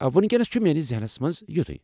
وینکینس چھ میٲنس ذہنس منٛز یُتُھے۔